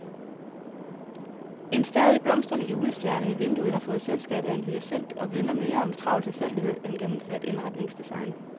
En stadig blomstrende julestjerne i vinduet har fået selskab af en hyacint og vidner mere om travl tilfældighed end gennemført indretningsdesign.